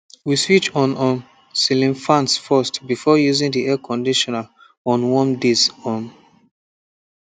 we switch on um ceiling fans first before using the air conditioner on warm days um